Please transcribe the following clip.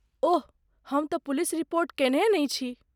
ओह, हम तँ police report कयनहि नहि छी।